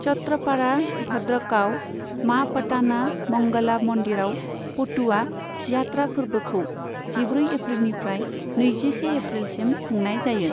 छत्रपाड़ा, भद्रकआव मा पटाना मंगला मन्दिरआव, पटुआ यात्रा फोरबोखौ जिब्रै एप्रिलनिफ्राय नैजिसे एप्रिल सिम खुंनाय जायो।